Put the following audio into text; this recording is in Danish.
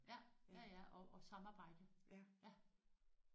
Ja ja ja og og samarbejde ja